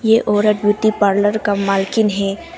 ये औरत beauty parlour का मालकिन है।